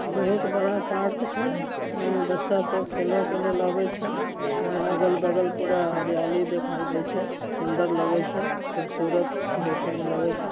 बहुत बड़ा पार्क छे बचा सब खेला लागल छ अगल बगल पूरा हरियल दिखाई दे छ सुन्दर लागल छ खूबसूरत देखो मैं लागल छे।